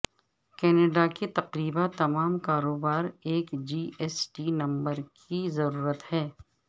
Canada کے تقریبا تمام کاروبار ایک جی ایس ٹی نمبر کی ضرورت ہے